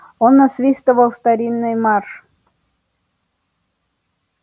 он насвистывал старинный марш